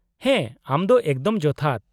-ᱦᱮᱸ, ᱟᱢᱫᱚ ᱮᱠᱫᱚᱢ ᱡᱚᱛᱷᱟᱛ ᱾